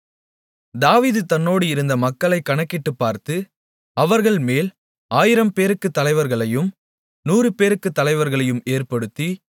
தாவீது தன்னோடு இருந்த மக்களைக் கணக்கிட்டுப்பார்த்து அவர்கள்மேல் 1000 பேருக்கு தலைவர்களையும் 100 பேருக்கு தலைவர்களையும் ஏற்படுத்தி